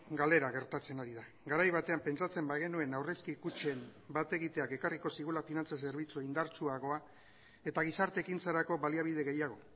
galera gertatzen ari da garai batean pentsatzen bagenuen aurrezki kutxen bat egiteak ekarriko zigula finantza zerbitzu indartsuagoa eta gizarte ekintzarako baliabide gehiago